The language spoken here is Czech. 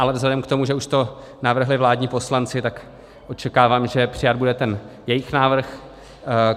Ale vzhledem k tomu, že už to navrhli vládní poslanci, tak očekávám, že přijat bude ten jejich návrh.